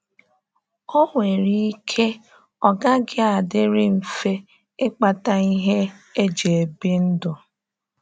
Ọ nwere ike ọ gaghị adịrị mfe ịkpata ihe e ji ebi ndụ.